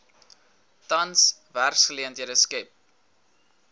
tans werksgeleenthede skep